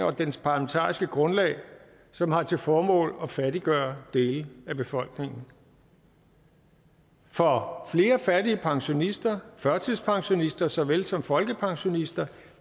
og dens parlamentariske grundlag som har til formål at fattiggøre dele af befolkningen for flere fattige pensionister førtidspensionister såvel som folkepensionister